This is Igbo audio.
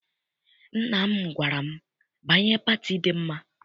Nna m gwara m, banye pati dị mma!